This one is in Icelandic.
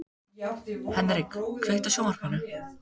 Henrik, kveiktu á sjónvarpinu.